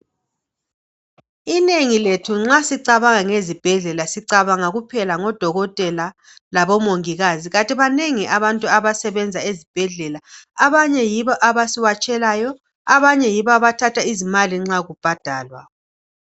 Inengi lethu nxa sicabanga ngezibhedlela sicabanga kuphela ngodokotela labomongikazi kanti banengi abantu abasebenza ezibhedlela. Abanye yibo abasiwatshelayo, abanye yibo abathatha izimali nxa kubhadalwa.